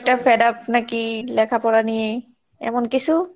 fed up নাকি লেখাপড়া নিয়ে এমন কিছু?